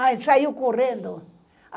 Aí saiu correndo.